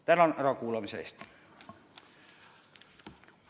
Tänan ärakuulamise eest!